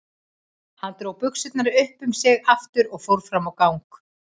Hún dró buxurnar upp um sig aftur og fór fram á gang.